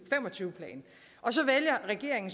fem og tyve plan og så vælger regeringen